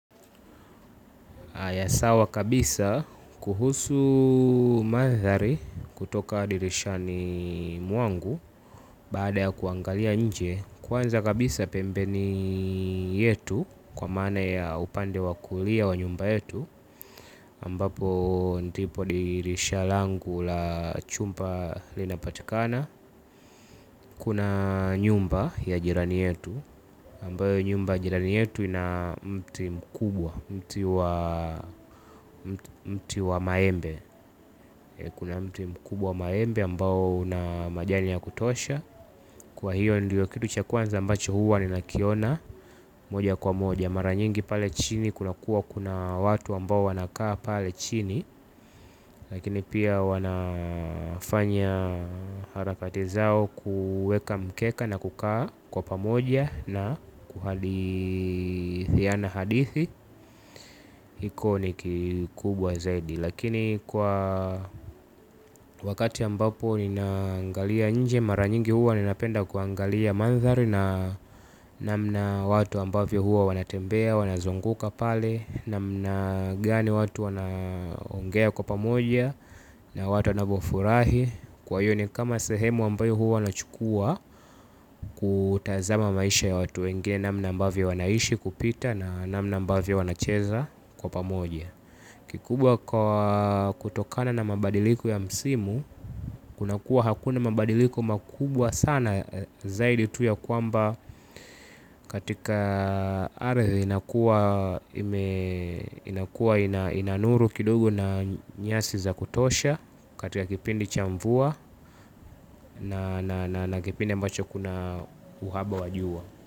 Haya sawa kabisa kuhusu mandhari kutoka dirishani mwangu, baada ya kuangalia nje, kwanza kabisa pembeni yetu, kwa maana ya upande wa kulia wa nyumba yetu, ambapo ndipo dirisha langu la chumba linapatikana. Kuna nyumba ya jirani yetu. Ambayo nyumba ya jirani yetu ina mti mkubwa. Mti wa mti wa maembe. Kuna mti mkubwa wa maembe ambao una majani ya kutosha, kwa hiyo ndio kitu cha kwanza ambacho huwa ninakiona. Moja kwa moja mara nyingi pale chini kunakuwa kuna watu ambao wanakaa pale chini. Lakini pia wanafanya harakati zao, kuuweeka mkeka na kukaa kwa pamoja. Na kuhadithiana hadithi. Hiko ni kikubwa zaidi. Lakini kwa wakati ambapo ninaangalia nje mara nyingi huwa ninapenda kuangalia mandhari na namna watu ambavyo huwa wanatembea wanazunguka pale, namna gani watu wanaongea kwa pamoja, na watu wanapofurahi, kwa hiyo ni kama sehemu ambayo huwa nachukua kutazama maisha ya watu wengine namna ambavy wanaishi, kupita na namna ambavyo wanacheza kwa pamoja. Kikubwa kutokana na mabadiliko ya msimu. Kuna kuwa hakuna mabadiliko makubwa sana zaidi tu ya kwamba katika ardhi inakuwa ina nuru kidogo na nyasi za kutosha, katika kipindi cha mvua na kipindi ambacho kuna uhaba wa jua.